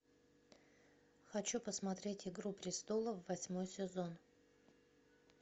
хочу посмотреть игру престолов восьмой сезон